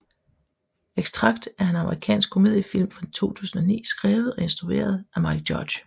Extract er en amerikansk komediefilm fra 2009 skrevet og instrueret af Mike Judge